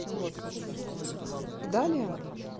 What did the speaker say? вот и далее